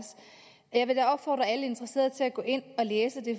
jeg vil da opfordre alle interesserede til at gå ind og læse det